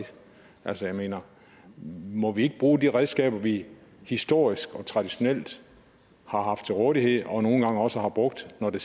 altså jeg mener må vi ikke bruge de redskaber vi historisk og traditionelt har haft til rådighed og nogle gange også har brugt når det